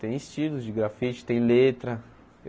Tem estilos de grafite, tem letra.